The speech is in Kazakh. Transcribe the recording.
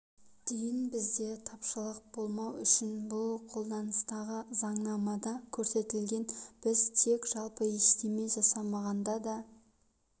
дейін бізде тапшылық болмау үшін бұл қолданыстағы заңнамада көрсетілген біз тек жалпы ештеме жасамағанда да